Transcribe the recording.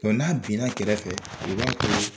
n'a binna kɛrɛfɛ